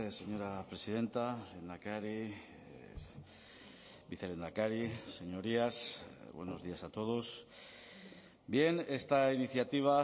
señora presidenta lehendakari vicelehendakari señorías buenos días a todos bien esta iniciativa